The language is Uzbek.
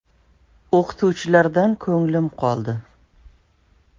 “O‘qituvchilardan ko‘nglim qoldi.